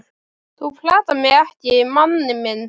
þú platar mig ekki manni minn.